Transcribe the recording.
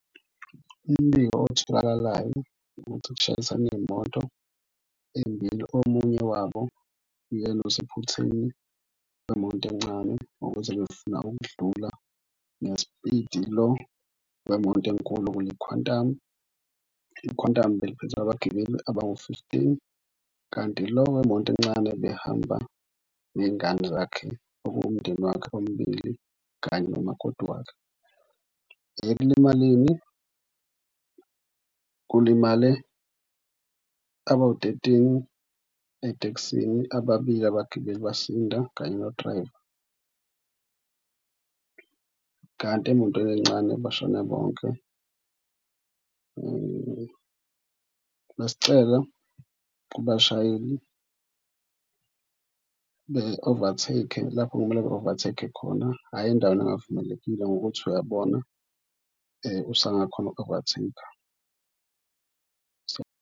Umbiko otholakalayo ukuthi kushayisana iy'moto ey'mbili. Omunye wabo uyena osephutheni wemoto encane ukuze befuna ukudlula ngespidi lo wemoto enkulu kuyi-Quantum. I-Quantum beliphethe abagibeli abawu-fifteen, kanti lo wemoto encane behamba ney'ngane zakhe okuwumndeni wakhe, ombili kanye nomakoti wakhe. Ekulimaleni kulimale abawu-thirteen etekisini, ababili abagibeli basinda kanye nodrayiva kanti emotweni encane bashone bonke. Besicela kubashayeli be-overtake-e lapho kumele ba-overtake khona ayi endaweni engavumelekile, ngokuthi uyabona usangakhona uku-overtake-a .